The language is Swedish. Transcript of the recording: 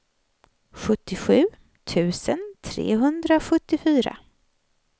sjuttiosju tusen trehundrasjuttiofyra